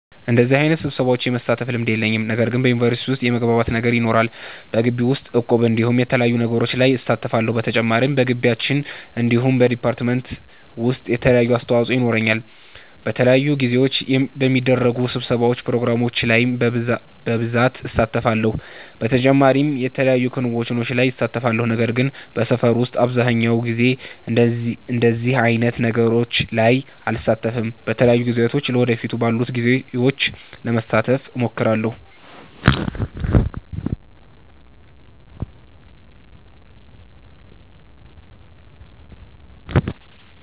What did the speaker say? በደዚህ አይነት ስብሰሻዎች የመሳተፍ ልምድ የለኝም። ነገር ግን በዩኒቨርሲቲ ዉስጥ የመግባባት ነገር ይኖረናል። በጊቢ ዉስጥ እቁብ እንዲሁም የተለያዩ ነገሮች ላይ እሳተፋለሁ። በተጨማሪም በጊቢያችን እንዲሁም በ ዲፓርትመንት ዉሰጥ የተለያየ አስተዋፆ የኖረኛል። በተለያዩ ጊዜዎች በሚደረጉ ስብሰባዎች ፕሮግራሞች ላይ በብሳት እሳተፋለሁ። በተጨማሪም የተለያዩ ክንዉኖች ላይ እሳተፋለሁ። ነገር ግን በሰፈር ዉስጥ አብዘሃኛዉ ጊዜ እንደዚህ አይነት ነገሮች ላይ አልሳተፍም። በተለያዩ ጊዜያቶች ለ ወደፊት ባሉት ጊዜዎች ለመሳተፍ እሞክራለሁ